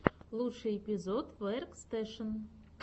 лучший эпизод веркстэшен